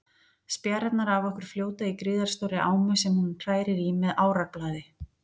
Spjarirnar af okkur fljóta í gríðarstórri ámu sem hún hrærir í með árarblaði.